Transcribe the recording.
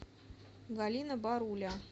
галина баруля